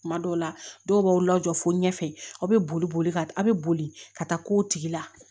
Kuma dɔw la dɔw b'aw lajɔ fo ɲɛfɛ aw be boli boli ka aw be boli ka taa k'o tigila